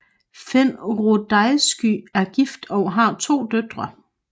Finn Rudaizky er gift og har to døtre